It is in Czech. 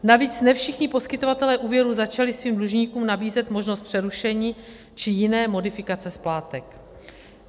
Navíc ne všichni poskytovatelé úvěrů začali svým dlužníkům nabízet možnost přerušení či jiné modifikace splátek.